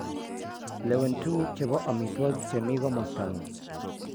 lewen tuguuk che po amitwogik che mi komosta ng'ung'